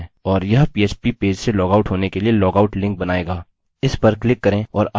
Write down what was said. हम इसे रिफ्रेश करते हैं और यह php पेज से लॉगआउट होने के लिए लॉगआउट लिंक बनायेगा